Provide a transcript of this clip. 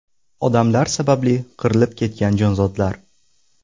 Odamlar sababli qirilib ketgan jonzotlar.